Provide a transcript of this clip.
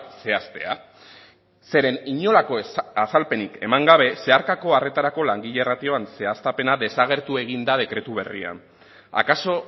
zehaztea zeren inolako azalpenik eman gabe zeharkako arretarako langile ratioan zehaztapena desagertu egin da dekretu berrian akaso